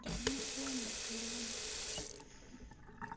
другим слоем на первом